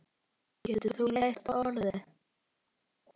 Getur þú leyst orðin?